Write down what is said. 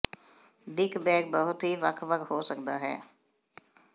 ਦਿੱਖ ਬੈਗ ਬਹੁਤ ਹੀ ਵੱਖ ਵੱਖ ਹੋ ਸਕਦਾ ਹੈ